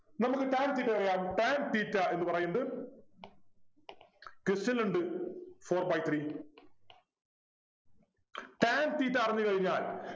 നമുക്ക് tan theta അറിയാം tan theta എന്ന് പറയുന്നത് question ലുണ്ട് four by three tan theta അറിഞ്ഞു കഴിഞ്ഞാൽ